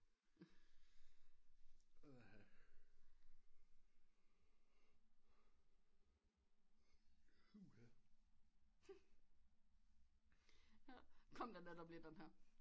Kom der netop lige den her